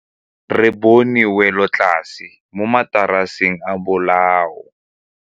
Re bone wêlôtlasê mo mataraseng a bolaô.